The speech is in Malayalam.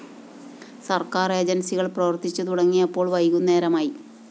സര്‍ക്കാര്‍ ഏജന്‍സികള്‍ പ്രവര്‍ത്തിച്ചു തുടങ്ങിയപ്പോള്‍ വൈകുന്നേരമായി